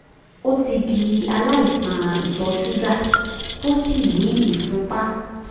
ó ti di aláìsàn ìtọ̀ ṣúgà tó sì ní ìfúnpá